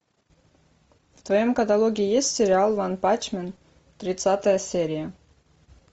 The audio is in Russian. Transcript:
в твоем каталоге есть сериал ванпанчмен тридцатая серия